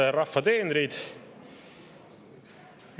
Head rahva teenrid!